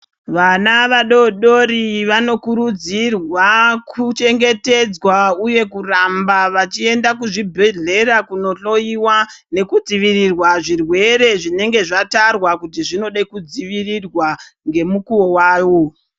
Vana vadodori vanokurudzirwa kuchengetedzwa uye kuramba vachienda kuzvibhedhlera kunohloyiwa nekudzivirirwa zvirwere zvinenge zvatarwa kuti zvinode kudzivirirwa ngemukuwo wawo.